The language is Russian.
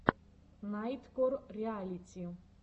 найткор реалити